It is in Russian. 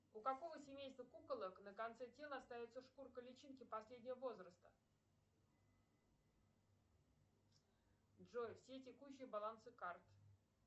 у какого семейства куколок на конце тела остается шкурка личинки последнего возраста джой все текущие балансы карт